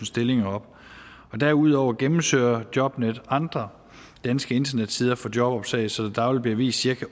stillinger op og derudover gennemsøger jobnetdk andre danske internetsider for jobopslag så der dagligt bliver vist cirka